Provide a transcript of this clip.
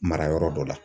Mara yɔrɔ dɔ la